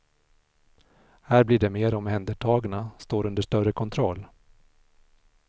Här blir de mer omhändertagna, står under större kontroll.